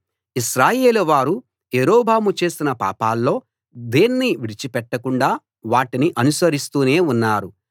ఇశ్రాయేలు వారు యరొబాము చేసిన పాపాల్లో దేన్నీ విడిచిపెట్టకుండా వాటిని అనుసరిస్తూనే ఉన్నారు